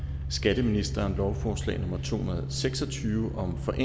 skatteministeren lovforslag nummer l to hundrede og seks og tyve